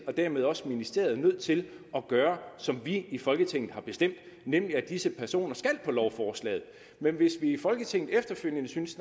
og dermed også ministeriet jo nødt til at gøre som vi i folketinget har bestemt nemlig at disse personer skal på lovforslaget men hvis vi i folketinget efterfølgende synes